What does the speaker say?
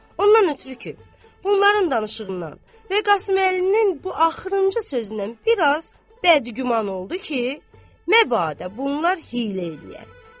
Ondan ötrü ki, bunların danışığından və Qasıməlinin bu axırıncı sözündən biraz bədgüman oldu ki, məbadə bunlar hiylə eləyər.